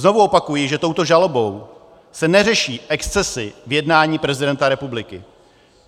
Znovu opakuji, že touto žalobou se neřeší excesy v jednání prezidenta republiky.